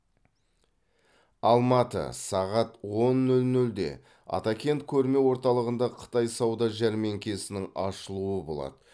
алматы сағат он нөл нөлде атакент көрме орталығында қытай сауда жәрмеңкесінің ашылуы болады